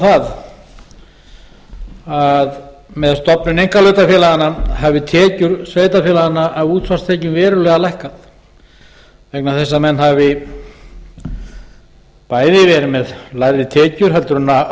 það að með stofnun einkahlutafélaganna hafi tekjur sveitarfélaganna af útsvarstekjum verulega lækkað vegna þess að menn hafi bæði verið með lægri tekjur en